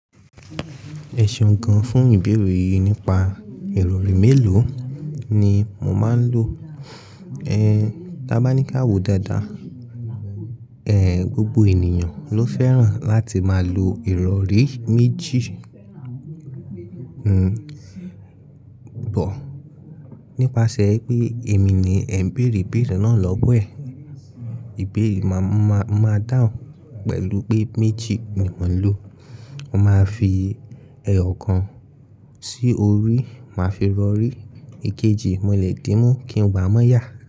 Ẹ̀ṣeun gan fún ìbẹ̀rẹ̀ yìí nípa ìrọ̀rí mélòó ni mò máa ń lo? Ẹ, ta bá ní ká wò dáadáa, ẹ̀, gbogbo ènìyàn ló fẹ́ràn láti máa lo ìrọ̀rí méjì. But, nípasẹ̀ pé èmi ni ẹ̀ ń bẹ̀rẹ̀ ìbẹ̀rẹ̀ náà lówó ẹ̀. Ìbẹ̀rẹ̀ máa, máa, máa dáhùn pẹ̀lú pé méjì ni mò ń lò. Mo máa fi ẹyọ kan sí orí, màá fi ìrọ̀rí èkejì mo le dímú kí n wá mọ́yà.